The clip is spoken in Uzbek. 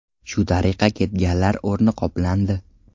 Shu tariqa ketganlar o‘rni qoplandi.